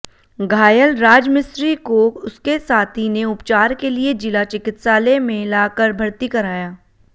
घायल राजमिस्त्री को उसके साथी ने उपचार के लिए जिला चिकित्सालय मेें लाकर भर्ती कराया